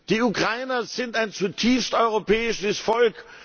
Die Ukrainer sind ein zutiefst europäisches Volk.